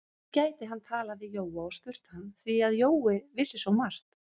Nú gæti hann talað við Jóa og spurt hann, því að Jói vissi svo margt.